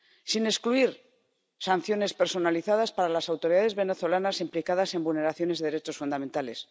sin excluir sanciones personalizadas para las autoridades venezolanas implicadas en vulneraciones de derechos fundamentales.